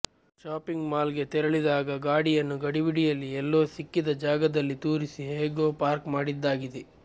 shopping mall ಗೆ ತೆರಳಿದಾಗ ಗಾಡಿಯನ್ನು ಗಡಿಬಿಡಿಯಲ್ಲಿ ಎಲ್ಲೋ ಸಿಕ್ಕಿದ ಜಾಗದಲ್ಲಿ ತೂರಿಸಿ ಹೇಗ್ಹೋ ಪಾರ್ಕ್ ಮಾಡಿದ್ದಾಗಿದೆ